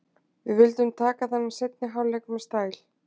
Við vildum taka þennan seinni hálfleik með stæl.